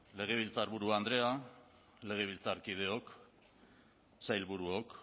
legebiltzarburu andrea legebiltzarkideok sailburuok